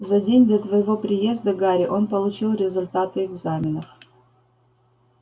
за день до твоего приезда гарри он получил результаты экзаменов